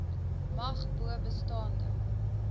mag bo bestaande